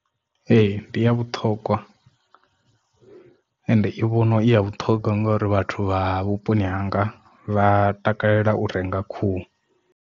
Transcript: Ee ndi ya vhuthogwa and i vhono i ya vhuṱhongwa ngori vhathu vha vhuponi hanga vha takalela u renga khuhu.